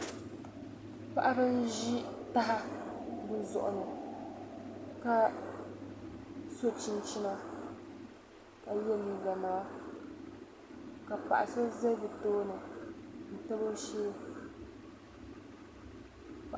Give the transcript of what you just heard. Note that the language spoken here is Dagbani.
paɣaba nzi taha bɛ zuɣu ni ka so chiŋchina ka ye liiganima ka paɣ'so ze bɛ tooni n tabi o shee